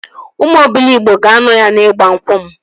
Ụmụ Obiligbo ga-anọ ya n'igba nkwụ m